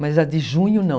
Mas a de junho, não.